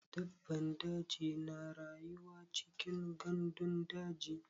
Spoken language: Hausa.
Dabban daji na rayuwa cikin gandun daji.